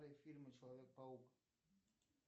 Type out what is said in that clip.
фильмы человек паук